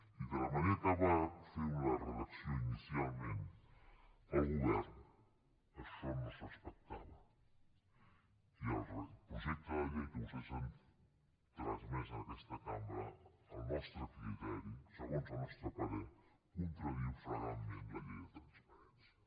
i de la manera que va fer la redacció inicialment el govern això no es respectava i el projecte de llei que vostès han transmès a aquesta cambra al nostre criteri segons el nostre parer contradiu flagrantment la llei de transparència